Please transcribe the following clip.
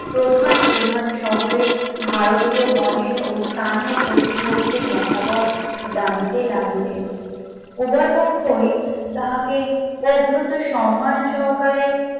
প্রধান প্রধান শহরে ভারতীয় গণের ও স্থানীয় কর্তৃপক্ষের মতামত জানিতে লাগিলেন, উভয়পক্ষই তাহাকে প্রভূত সম্মান সহকারে